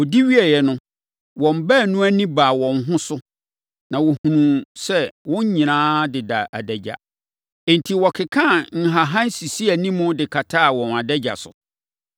Wɔdi wieeɛ no, wɔn baanu ani baa wɔn ho so, na wɔhunuu sɛ wɔn nyinaa da adagya. Enti, wɔkekaa nhahan sisii animu de kataa wɔn adagya so.